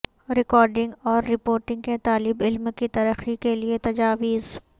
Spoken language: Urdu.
ریکارڈنگ اور رپورٹنگ کے طالب علم کی ترقی کے لئے تجاویز